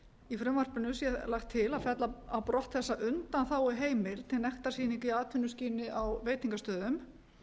í frumvarpinu sé lagt til að fella á brott þessa undanþáguheimild til nektarsýninga í atvinnuskyni á veitingastöðum